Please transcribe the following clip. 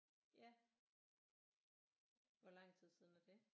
Ja hvor lang tid siden er det